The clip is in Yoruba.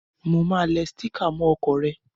Mo máa le sticker mó okò re